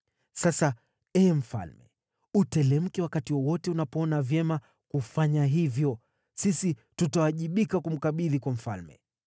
Sasa, ee mfalme, uteremke wakati wowote unapoona vyema kufanya hivyo, sisi tutawajibika kumkabidhi kwa mfalme.”